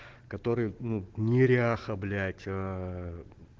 который ну неряха блять